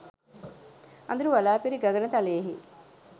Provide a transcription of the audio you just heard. අඳුරු වළා පිරි ගගන තලයෙහි